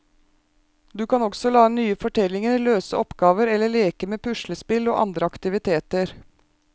Du kan også lage nye fortellinger, løse oppgaver eller leke med puslespill og andre aktiviteter.